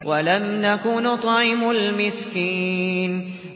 وَلَمْ نَكُ نُطْعِمُ الْمِسْكِينَ